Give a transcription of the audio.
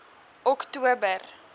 oktober